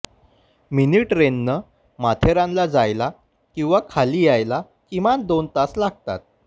मिनिट्रनं माथेरानला जायला किंवा खाली यायला किमान दोन तास लागतात